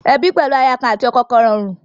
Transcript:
Ebi pẹlu aya kan ati ọkọ kọn rọrùn.